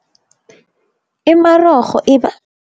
Imarorho iba